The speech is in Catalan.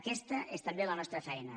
aquesta és també la nostra feina